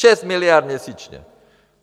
Šest miliard měsíčně!